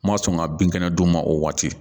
N ma sɔn ka bin kɛnɛ d'u ma o waati